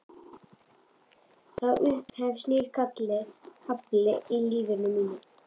Og þá upphefst nýr kafli í lífi mínu.